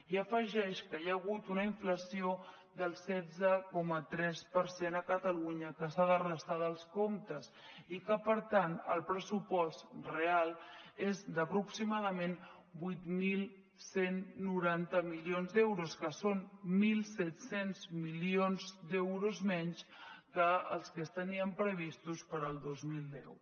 i afegeix que hi ha hagut una inflació del setze coma tres per cent a catalunya que s’ha de restar dels comptes i que per tant el pressupost real és d’aproximadament vuit mil cent i noranta milions d’euros que són mil set cents milions d’euros menys que els que es tenien previstos per al dos mil deu